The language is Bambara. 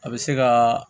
A bɛ se ka